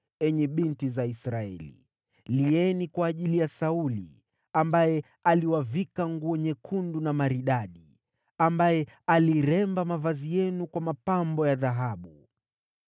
“Enyi binti za Israeli, lieni kwa ajili ya Sauli, ambaye aliwavika nguo nyekundu na maridadi, ambaye aliremba mavazi yenu kwa mapambo ya dhahabu.